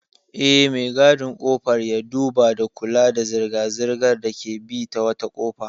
Eh, me gadin ƙofar ya duba da kula da zirga-zirgar da ke bi ta wata kofa.